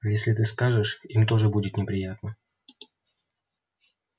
а если ты скажешь им тоже будет неприятно